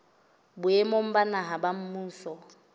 boemong ba naha ba mmuso